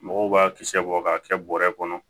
Mɔgɔw b'a kisɛ bɔ k'a kɛ bɔrɛ kɔnɔ